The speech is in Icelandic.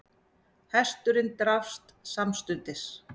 Hesturinn drapst samstundis